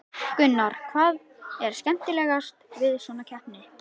Gunnar: Hvað er skemmtilegast við svona keppni?